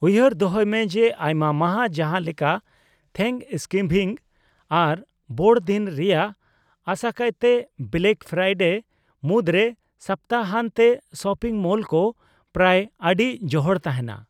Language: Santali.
ᱩᱭᱦᱟᱹᱨ ᱫᱚᱦᱚᱭ ᱢᱮ ᱡᱮ ᱟᱭᱢᱟ ᱢᱟᱦᱟᱼ ᱡᱟᱦᱟᱸ ᱞᱮᱠᱟ ᱛᱷᱮᱝᱠᱚᱥᱜᱤᱵᱷᱤᱝ ᱟᱨ ᱵᱚᱲᱚ ᱫᱤᱱ ᱨᱮᱭᱟᱜ (ᱟᱥᱟᱠᱟᱭᱛᱮ ᱵᱮᱞᱮᱠ ᱯᱷᱮᱨᱟᱭᱰᱮ) ᱢᱩᱫᱨᱮ ᱥᱚᱯᱛᱟᱦᱟᱱᱛᱮᱼ ᱥᱚᱯᱤᱝ ᱢᱚᱞ ᱠᱚ ᱯᱨᱟᱭ ᱟᱹᱰᱤ ᱡᱚᱦᱚᱲ ᱛᱟᱦᱮᱸᱱᱟ ᱾